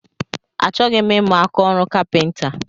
Achọghị m imu ákáọrụ kapinta